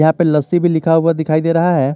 यहां पे लस्सी भी लिखा हुआ दिखाई दे रहा है।